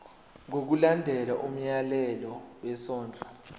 ngokulandela umyalelo wesondlo